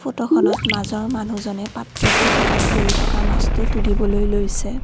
ফটোখনত মাজৰ মানুহজনে পাত্ৰটোৰ কাষত পৰি থকা মাছটো তুলিবলৈ লৈছে।